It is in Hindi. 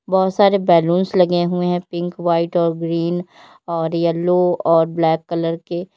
बहोत सारे बलूंस लगे हुए हैं पिंक व्हाइट और ग्रीन और येलो और ब्लैक कलर के।